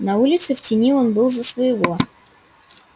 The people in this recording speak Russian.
на улице в тени он был за своего